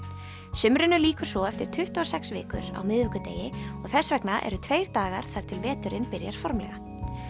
sumrinu lýkur svo eftir tuttugu og sex vikur á miðvikudegi og þess vegna eru tveir dagar þar til veturinn byrjar formlega